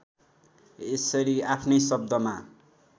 यसरी आफ्नै शब्दमा